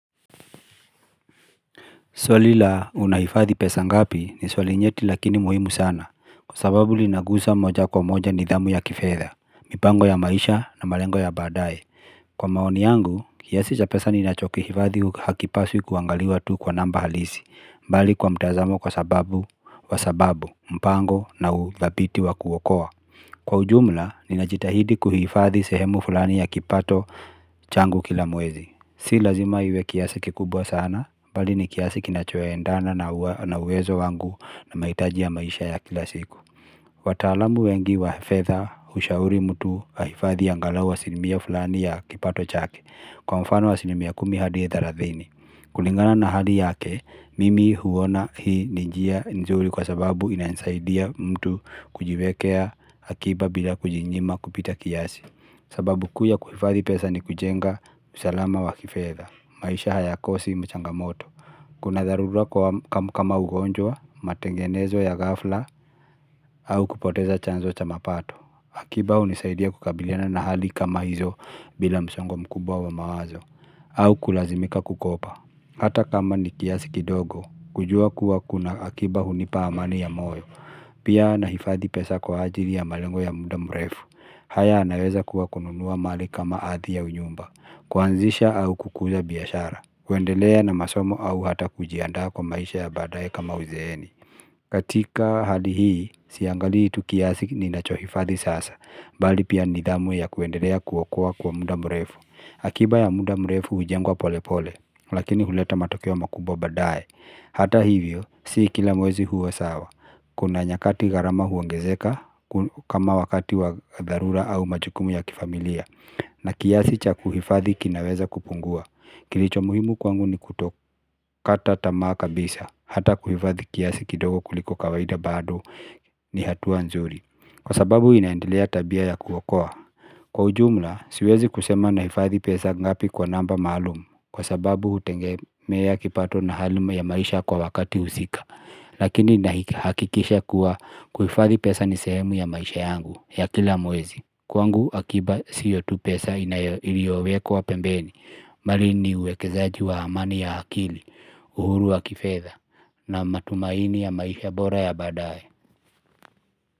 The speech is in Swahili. Swali la unahifadhi pesa ngapi ni swali nyeti lakini muhimu sana, kwa sababu linagusa moja kwa moja nidhamu ya kifedha, mipango ya maisha na malengo ya baadaye. Kwa maoni yangu, kiasi cha pesa ninachokihifadhi hakipaswi kuangaliwa tu kwa namba halisi, bali kwa mtazamo kwa sababu wa sababu, mpango na uthabiti wa kuokoa. Kwa ujumla ninajitahidi kuhifadhi sehemu fulani ya kipato changu kila mwezi si lazima iwe kiasi kikubwa sana, bali ni kiasi kinachoendana na uwezo wangu na mahitaji ya maisha ya kila siku. Wataalamu wengi wa fedha hushauri mtu ahifadhi angalau asilimia fulani ya kipato chake kwa mfano asilimia kumi hadi thelathini. Kulingana na hali yake, mimi huona hii ni njia nzuri kwa sababu inanisaidia mtu kujiwekea akiba bila kujinyima kupita kiasi. Sababu kuu ya kuhifadhi pesa ni kujenga usalama wa kifedha, maisha hayakosi mchangamoto. Kuna tharura kama ugonjwa, matengenezo ya ghafla, au kupoteza chanzo cha mapato. Akiba hunisaidia kukabiliana na hali kama hizo bila msongo mkubwa wa mawazo, au kulazimika kukopa. Hata kama ni kiasi kidogo, kujua kuwa kuna akiba hunipa amani ya moyo, pia nahifadhi pesa kwa ajili ya malengo ya muda mrefu, haya yanaweza kuwa kununua mali kama ardhi au nyumba, kuanzisha au kukuza biashara, kuendelea na masomo au hata kujiandaa kwa maisha ya baadaye kama uzeeni. Katika hali hii, siangalii tu kiasi ninachohifadhi sasa bali pia nidhamu ya kuendelea kuokoa kwa muda mrefu akiba ya muda mrefu hujengwa pole pole lakini huleta matokeo makubwa baadaye hata hivyo, si kila mwezi huwa sawa kuna nyakati gharama huongezeka kama wakati wa dharura au majukumu ya kifamilia na kiasi cha kuhifadhi kinaweza kupungua kilicho muhimu kwangu ni kutokata tamaa kabisa hata kuhifadhi kiasi kidogo kuliko kawaida bado ni hatua nzuri kwa sababu inaendelea tabia ya kuokoa kwa ujumla, siwezi kusema nahifadhi pesa ngapi kwa namba maalum kwa sababu hutegemea kipato na haluma ya maisha kwa wakati husika lakini nahakikisha kuwa kuhifadhi pesa ni sehemu ya maisha yangu ya kila mwezi kwangu akiba sio tu pesa iliyowekwa pembeni bali ni uwekezaji wa amani ya akili, uhuru wa kifedha na matumaini ya maisha bora ya baadaye.